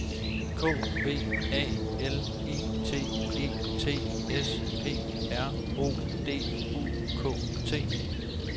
K V A L I T E T S P R O D U K T